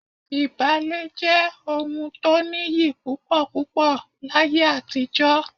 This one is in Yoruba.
Ìbálé jẹ́ ohun tó nìyí púpọ̀púpọ̀ láyé àtijọ́